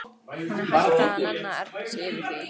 Hún er hætt að nenna að ergja sig yfir því.